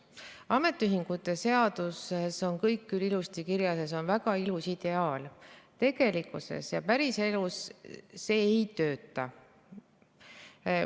Ametiühingute seaduses on kõik küll ilusasti kirjas ja see on väga ilus ideaal, tegelikkuses ja päriselus see ei tööta.